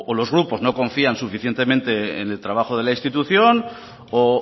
los grupos no confían suficientemente en el trabajo de la institución o